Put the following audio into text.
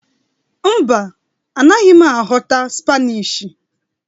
Mba, A naghị m aghọta Spanishi